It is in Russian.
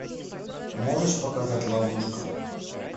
можешь показать ловушка